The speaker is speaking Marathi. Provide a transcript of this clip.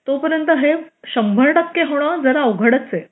तोपर्यंत हे शंभर टक्के होणे अवघडचे